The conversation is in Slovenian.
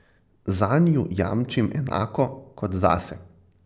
Zanju jamčim enako kot zase.